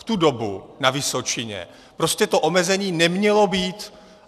V tu dobu na Vysočině prostě to omezení nemělo být.